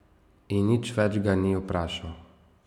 In nič več ga ni vprašal.